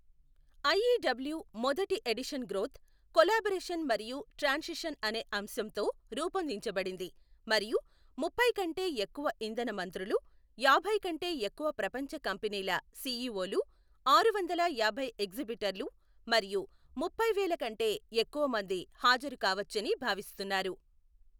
IEW మొదటి edition growth, collaboration మరియు transition అనే అంశంతో రూపొందించబడింది మరియు ముప్పై కంటే ఎక్కువ ఇంధన మంత్రులు, యాభై కంటే ఎక్కువ ప్రపంచ కంపెనీల సీఈఓలు, ఆరువందల యాభై ఎగ్జిబిటర్లు మరియు ముప్పైవేల కంటే ఎక్కువమంది హాజరు కావచ్చని భావిస్తున్నారు.